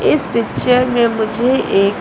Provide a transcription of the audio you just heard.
इस पिक्चर में मुझे एक--